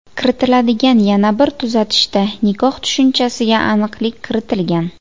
Kiritiladigan yana bir tuzatishda nikoh tushunchasiga aniqlik kiritilgan.